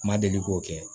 N ma deli k'o kɛ